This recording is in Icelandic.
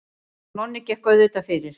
Og Nonni gekk auðvitað fyrir.